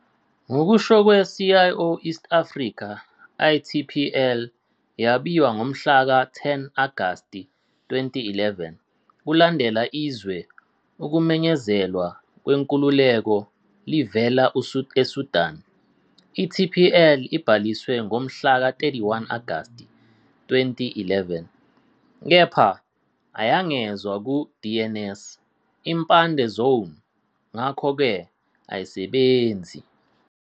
Ngokusho kwe -" CIO East Africa ", iTPL yabiwa ngomhlaka 10 Agasti 2011 kulandela izwe ukumenyezelwa kwenkululeko livela eSudan. I-TPL ibhaliswe ngomhla ka-31 Agasti 2011, kepha ayangezwa ku- DNS] impande zone ngakho-ke ayisebenzi.